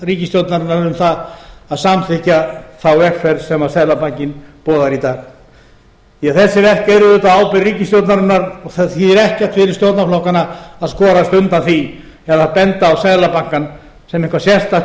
ríkisstjórnarinnar um það að samþykkja þá vegferð sem seðlabankinn boðar í dag því þessi verk eru auðvitað á ábyrgð ríkisstjórnarinnar og það þýðir ekkert fyrir stjórnarflokkana að skorast undan því eða benda á seðlabankann sem eitthvað sérstakt